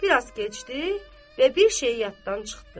Bir az keçdi və bir şey yaddan çıxdı.